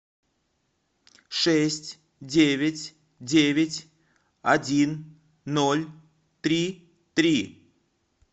шесть девять девять один ноль три три